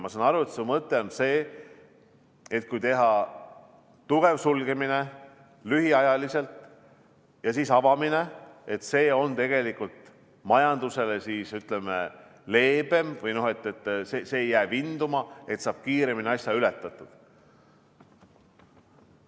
Ma saan aru, et su mõte on see, et kui teha tugev sulgemine lühiajaliselt ja seejärel avamine, siis on see tegelikult majandusele leebem, ei jää vinduma ja saab asja kiiremini ületatud.